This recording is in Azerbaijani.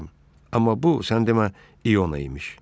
Amma bu sən demə İona imiş.